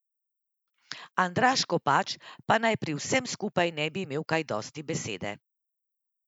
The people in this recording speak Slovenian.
Andraž Kopač pa naj pri vsem skupaj ne bi imel kaj dosti besede.